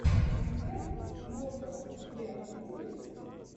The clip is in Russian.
концерт госта у тебя будет